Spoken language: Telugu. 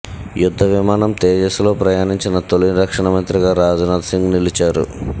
యుద్ధ విమానం తేజాస్లో ప్రయాణించిన తొలి రక్షణ మంత్రిగా రాజ్నాథ్ సింగ్ నిలిచారు